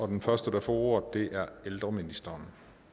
den første der får ordet er ældreministeren